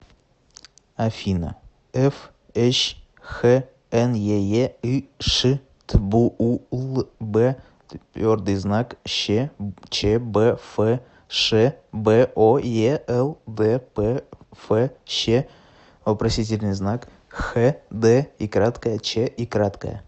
афина фщ хнееыш тбуулбъщчбфш боелдпфщ хдйчй